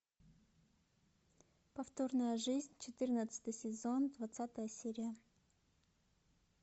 повторная жизнь четырнадцатый сезон двадцатая серия